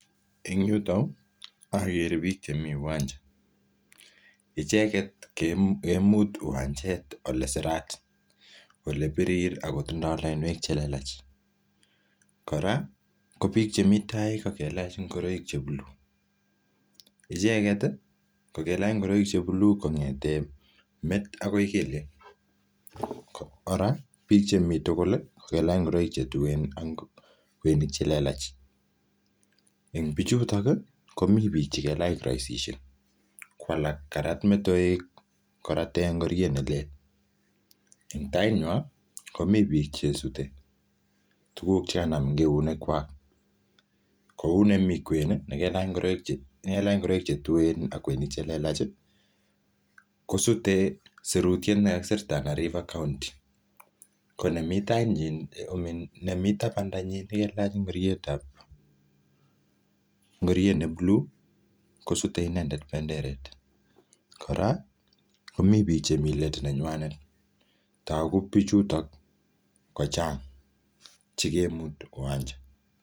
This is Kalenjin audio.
Eng yotuyo, agere biik chemii uwanja. Icheket, kemut uwanjet ole sirat, ole birir, akotindoi lainwek che lelach. Kora, ko biik che mi tai ko kelcah ngoroik che buluu. Icheket, ko kelach ngoroik che buluu kongete met akoi kelyek. Kora, biik che mii tugul, ko kelach ngoroik che tuen ak kweinik che lelach. Eng bichutok, komii biik che kelach kiroisishek. Ko alak, karat metoek korate ngoriet ne lel. Eng tait nywaa, komii biik che sute tuguk che kanam eng keunek kwak. Kou nemii kwen, ne kelach ngoroik che, ne kelach ngoroik che tuen ak kweinik che lelach, kosute sirutiet ne kakisir Tana River County. Ko nemii tait nyii, um nemii tabanda nyii, kelach ngorietab, ngoriet ne buluu kosute ineee benderet. Kora, komii biik chemii let nenywanet. Togu bichutok kochang, chekemutu uwanja.